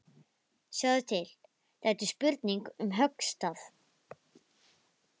Sjáðu til, þetta er spurning um höggstað.